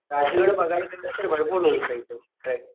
राजगड बघायला गेलं तर भरपूर उंचय तो ट्रेक.